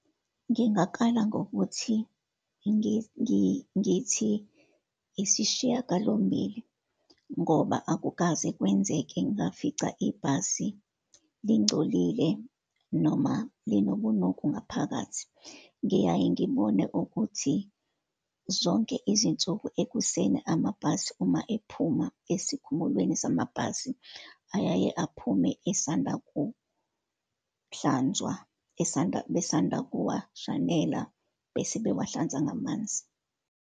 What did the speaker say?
Ngingakala ngokuthi ngithi isishiyagalombili, ngoba akukaze kwenzeke ngafica ibhasi lingcolile, noma lonobunuku ngaphakathi. Ngiyaye ngibone ukuthi zonke izinsuku ekuseni, amabhasi uma ephuma esikhumulweni samabhasi, ayaye aphume esanda kuhlanzwa, esanda, besanda kuwashanela bese bewahlanza nagamanzi.